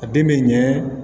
A den bɛ ɲɛ